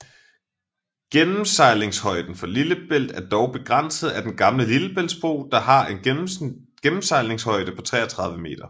Gennemsejlingshøjden for Lillebælt er dog begrænset af Den gamle lillebæltsbro der har en gennemsejlingshøjde på 33 meter